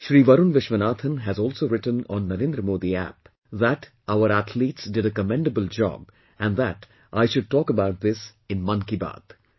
Shri Varun Vishwanathan has also written on NarendraModiApp that our athletes did a commendable job and that I should talk about this in 'Mann Ki Baat'